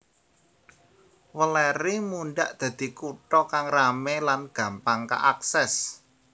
Weleri mundhak dadi kutha kang ramé lan gampang kaakses